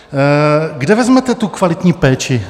Kde vezmete tu kvalitní péči?